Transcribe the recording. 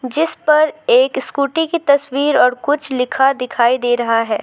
जिस पर एक स्कूटी की तस्वीर और कुछ लिखा दिखाई दे रहा है।